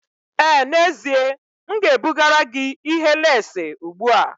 Ee n'ezie, m ga-ebugara gị ihe leesị ugbu a.